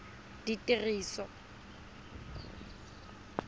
ditiriso